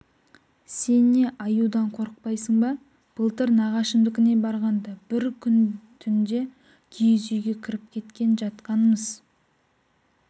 сен не аюдан қорықпайсың ба былтыр нағашымдікіне барғанда бір күн түнде киіз үйге кіріп кеткен жатқанымыз